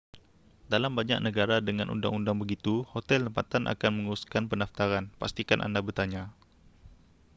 dalam banyak negara dengan undang-undang begitu hotel tempatan akan menguruskan pendaftaran pastikan anda bertanya